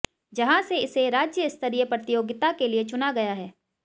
जहां से इसे राज्य स्तरीय प्रतियोगिता के लिए चुना गया है